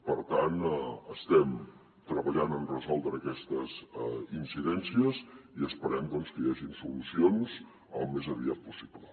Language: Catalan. per tant estem treballant en resoldre aquestes incidències i esperem doncs que hi hagin solucions al més aviat possible